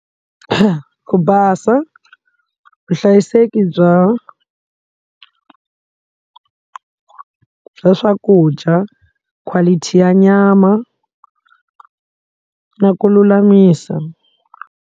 Ku basa vuhlayiseki bya bya swakudya quality ya nyama na ku lulamisa.